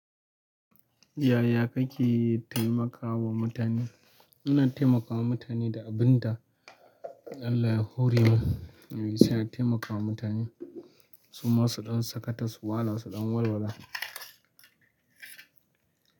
Yaya kake taimakawa mutane? Muna taimakawa mutane da abin da Allah ya hore mu, sai a taimakawa mutane. Su ma su ɗan sakata, su wala, su ɗan walwala.